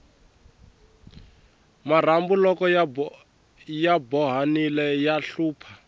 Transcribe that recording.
marhumbu loko ya bohanile ya hlupha